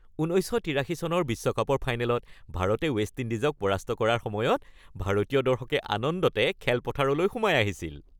১৯৮৩ চনৰ বিশ্বকাপৰ ফাইনেলত ভাৰতে ৱেষ্ট ইণ্ডিজক পৰাস্ত কৰাৰ সময়ত ভাৰতীয় দৰ্শকে আনন্দতে খেলপথাৰলৈ সোমাই আহিছিল।